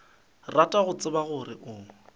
rata go tseba gore o